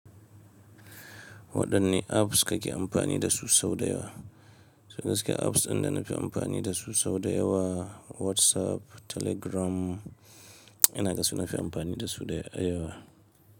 Waɗanne apps kake amfani dasu sau da yawa? Toh gaskiya apps ɗin da na fi amfani dasu sau da yawa WhatsApp, Telegram, ina gasu nafi amfani dasu da yawa.